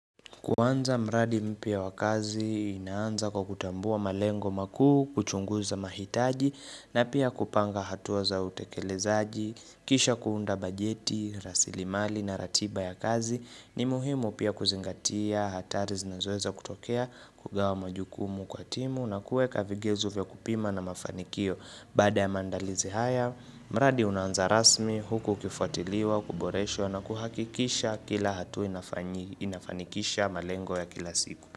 Kuanza mradi mpya wa kazi, inaanza kwa kukutambua malengo makuu, kuchunguza mahitaji, na pia kupanga hatua za utekelezaji, kisha kuunda bajeti, rasili mali na ratiba ya kazi, ni muhimu pia kuzingatia, hatari zinazoweza kutokea, kugawa majukumu kwa timu, na kuweka vigezo vya kupima na mafanikio. Baada ya maandalizi haya, mradi unaanza rasmi huku ukifuatiliwa, kuboreshwa na kuhakikisha kila hatua inafanikisha malengo ya kila siku.